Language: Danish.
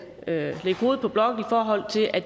lægge hovedet på blokken i forhold til at